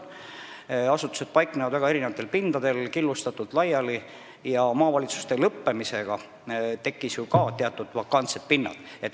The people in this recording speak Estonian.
Asutused paiknevad väga killustatult, eri pindadel laiali, ja maavalitsuste kadumisega tekkis ju ka vakantseid pindu.